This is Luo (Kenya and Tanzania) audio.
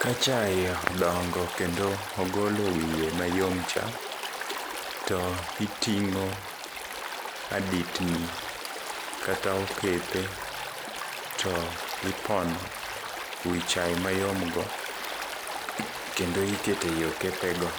Ka chae odongo kendo ogolo wiye mayom cha, to itingó aditni kata okepe to ipono wi chae mayom go, kendo ikete ei okepe go.